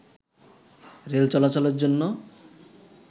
rail চলাচলের জন্য